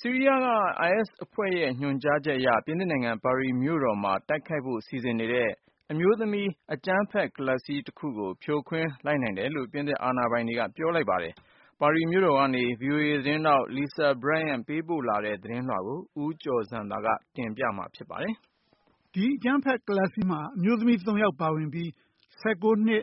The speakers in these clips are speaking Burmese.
ဆီးရီးယားက IS အဖွဲ့ရဲ့ ညွှန်ကြားချက်အရ ပြင်သစ်နိုင်ငံ ပါရီမြို့တော်မှာ တိုက်ခိုက်ဖို့ စီစဉ်နေတဲ့ ၊ အမျိုးသမီး အကြမ်းဖက် ကလပ်စည်း တခုကို ဖြိုခွင်းလိုက်နိုင်တယ်လို့ ပြင်သစ် အာဏာပိုင်တွေက ပြောလိုက်ပါတယ်။ ပါရီမြို့တော်ကနေ VOA သတင်းထောက် Lisa Bryant ပေးပို့တဲ့ သတင်းလွှာကို ဦးကျော်ဇံသာက တင်ပြပါမယ်။ ဒီအကြမ်းဖက် ကလပ်စည်းမှာ အမျိုးသမီး ၃ ယောက်ပါဝင်ပြီး ၁၉ နှစ်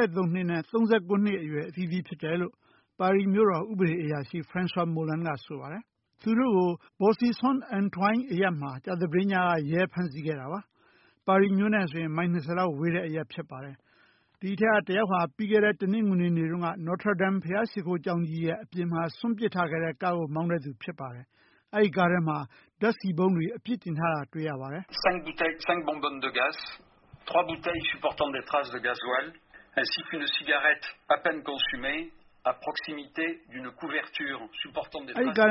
၊ ၂၃ နှစ်နဲ့ ၃၉ နှစ်အရွယ်အသီးသီးဖြစ်တယ်လို့ ပါရီမြို့တော် ဥပဒေအရာရှိ Francois Molinsက ဆိုပါတယ်။ သူတို့ကို Boussy-Saint-Antoine အရပ်မှာ ကြာသပတေးညက ရဲကဖမ်းဆီးခဲ့တာပါ။ ပါရီမြို့နဲ့ဆိုရင် မိုင် ၂၀ လောက် ဝေးတဲ့အရပ်ဖြစ်ပါတယ်။ ဒီအထဲက တယောက်ဟာ ပြီးခဲ့တဲ့ တနင်္ဂနွေနေ့တုန်းက Notre Dame ဘုရားရှိခိုးကြောင်းအပြင်ဘက်မှာ စွန့်ပစ်ထားခဲ့တဲ့ ကားကိုမောင်းတဲ့သူဖြစ်ပါတယ်။ အဲဒီကားထဲမှာ ဓါတ်ဆီပုံးတွေ အပြည့်တင်ထားတာတွေ့ရပါတယ်။ “အဲဒီကား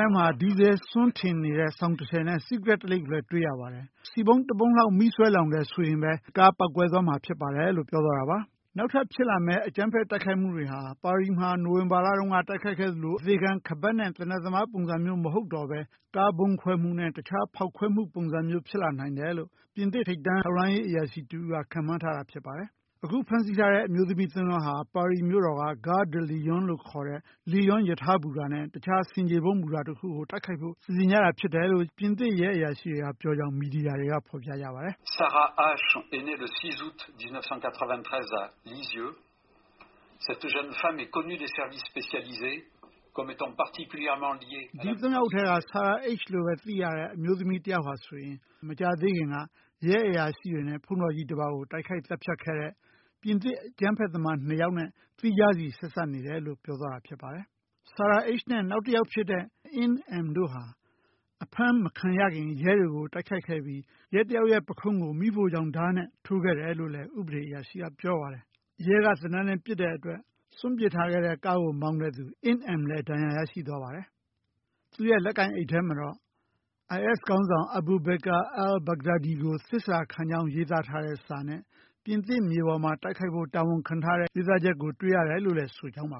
ထဲမှာ ဒီဇယ် စွန်းထင်းနေတဲ့ စောင်တထည်နဲ့ စီးကရက်လိပ် ၁ ခုကိုလည်း တွေ့ရပါတယ်။ ဆီပုံး တပုံးလောက် မီးစွဲလောင်တယ်ဆိုရင်ပဲ ကားပေါက်ကွဲသွားမှာဖြစ်ပါတယ်။” လို့ပြောသွားတာပါ။ နောက်ထပ်ဖြစ်လာမယ့် အကြမ်းဖက်တိုက်ခိုက်မှုတွေဟာ ပါရီမှာ နိုဝင်ဘာလက တိုက်ခိုက်ခဲ့သလို အသေခံ ခါးပတ်နဲ့ သေနတ်သမားပုံစံမျိုးမဟုတ်တော့ပဲ ကားဗုံးခွဲမှုနဲ့ တခြားဖောက်ခွဲမှုပုံစံမျိုးဖြစ်လာနိုင်တယ်လို့ ပြင်သစ်ထိပ်တန်းထောက်လှမ်းရေးအရာရှိ တဦးက ခန့်မှန်းထားတာဖြစ်ပါတယ်။ အခုဖမ်းဆီးခံရတဲ့ အမျိုးသမီး ၃ ယောက်ဟာ ပါရီမြို့တော်က Gare de Lyon လို့ခေါ်တဲ့ လီယွန်းဘူတာနဲ့ တခြားဆင်ခြေဖုံး ဘူတာတခုကို တိုက်ခိုက်ဖို့ စီစဉ်ကြတာဖြစ်တယ်လို့ ပြင်သစ်ရဲအရာရှိတွေကပြောကြောင်း မီဒီယာက ဖော်ပြကြပါတယ်။ “ ဒီ ၃ ယောက်ထဲက Sara H လို့ သိရတဲ့ အမျိုးသမီးတယောက်ဟာဆိုရင် မကြာသေးခင်က ရဲအရာရှိတွေနဲ့ ဘုန်းတော်ကြီးတပါးကိုတိုက်ခိုက် သတ်ဖြတ်ခဲ့တဲ့ ပြင်သစ်အကြမ်းဖက်သမား ၂ ယောက်နဲ့ သီးခြားစီ ဆက်စပ်နေတယ်လို့ ပြောသွားတာဖြစ်ပါတယ်။ Sara Hနဲ့ နောက်တယောက်ဖြစ်တဲ့ အင်းအမ် တို့ဟာ အဖမ်းမခံရခင် ရဲတွေကို တိုက်ခိုက်ခဲ့ပြီး ရဲတယောက်ရဲ ပုခုံးကို မီးဖိုချောင်ဓါးနဲ့ ထိုးခဲ့တယ်လို့လည်း ဥပဒေအရာရှိကပြောပါတယ်။ ရဲ က သေနတ်နဲ့ ပစ်တဲ့အတွက် စွန့်ပစ်ထားခဲ့တဲ့ကားကို မောင်းတဲ့သူ အင်းအမ်လည်း ဒဏ်ရာရရှိသွားပါတယ်။ သူ့ရဲ့လက်ကိုင်အိတ်ထဲမှာတော့ IS ခေါင်းဆောင် Abu Bakr al-Baghdadi ကို သစ္စာခံကြောင်း ရေးသားထားတဲ့ စာနဲ့ ပြင်သစ်မြေပေါ်မှာ တိုက်ခိုက်ဖို့ တောင်းခံထားတဲ့ ရေးသားချက်ကို တွေ့ရတယ်လို့ ပြောဆိုထားကြောင်းပါ